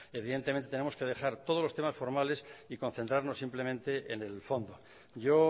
evidentemente tenemos que dejar todos los temas formales y concentrarnos simplemente en el fondo yo